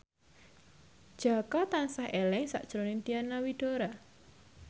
Jaka tansah eling sakjroning Diana Widoera